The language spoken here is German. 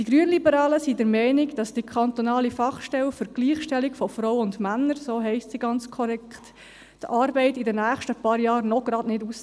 Die Grünliberalen sind der Meinung, der kantonalen Fachstelle für die Gleichstellung von Frauen und Männern – so heisst diese ganz korrekt – gehe die Arbeit in den nächsten paar Jahren noch nicht aus.